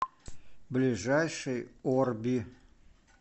ближайший орби